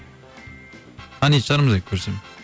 танитын шығармын егер көрсем